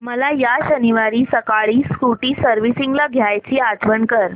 मला या शनिवारी सकाळी स्कूटी सर्व्हिसिंगला द्यायची आठवण कर